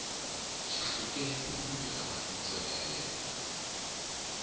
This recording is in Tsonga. xihluke hi luuya ni mbayna ya ena